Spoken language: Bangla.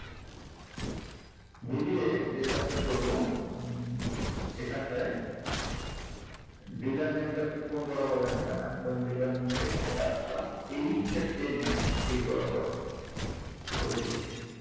v দিয়ে যে কাজটা করবো উম এখানটায় dealer name টা আপনি কোন বরাবর রাখবেন আমি ধরেন dealer name টা এখানে রাখলাম এইটা টেনে আমি এই বরাবর করে দিচ্ছি